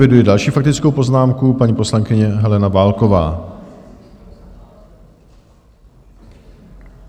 Eviduji další faktickou poznámku, paní poslankyně Helena Válková.